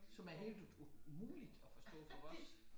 Som er helt umuligt at forstå for os